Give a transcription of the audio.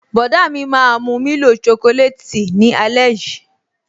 Bọ̀dá mi máa mu milo chocolate tea ni ale yii